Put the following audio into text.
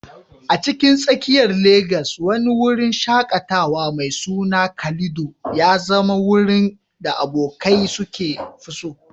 A cikin tsakiyar Legas, wani wurin shaƙatawa mai suna Calido ya zama wurin da abokai suka fi so.